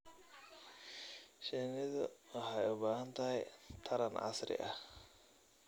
Shinnidu waxay u baahan tahay taran casri ah.